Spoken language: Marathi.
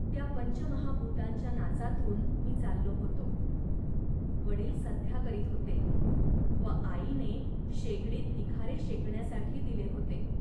त्या पंचमहाभूतांच्या नाचातून मी चाललो होतो. वडील संध्या करीत होते व आईने शेगडीत निखारे शेकण्यासाठी दिले होते